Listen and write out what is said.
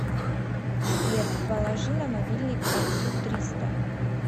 сбер положи на мобильник отцу триста